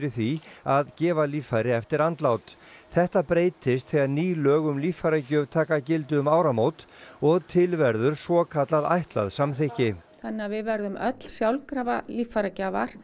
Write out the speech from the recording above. því að gefa líffæri eftir andlát þetta breytist þegar ný lög um líffæragjöf taka gildi um áramót og til verður svokallað ætlað samþykki þannig að við verðum öll sjálfkrafa líffæragjafar